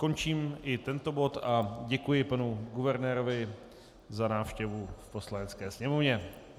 Končím i tento bod a děkuji panu guvernérovi za návštěvu v Poslanecké sněmovně.